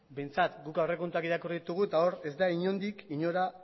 behintzat guk aurrekontuak irakurri ditugu eta hor ez da inondik inora